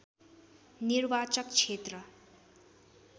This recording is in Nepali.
निर्वाचक क्षेत्र